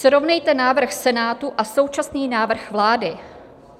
Srovnejte návrh Senátu a současný návrh vlády.